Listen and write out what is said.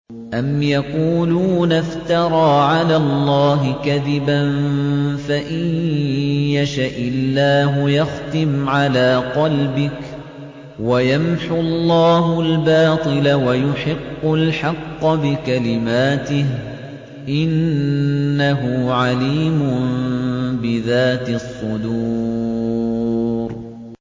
أَمْ يَقُولُونَ افْتَرَىٰ عَلَى اللَّهِ كَذِبًا ۖ فَإِن يَشَإِ اللَّهُ يَخْتِمْ عَلَىٰ قَلْبِكَ ۗ وَيَمْحُ اللَّهُ الْبَاطِلَ وَيُحِقُّ الْحَقَّ بِكَلِمَاتِهِ ۚ إِنَّهُ عَلِيمٌ بِذَاتِ الصُّدُورِ